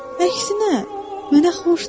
Əksinə, mənə xoşdur.